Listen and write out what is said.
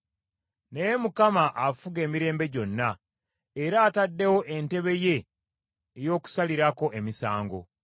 Naye Mukama afuga emirembe gyonna; era ataddewo entebe ye ey’okusalirako emisango.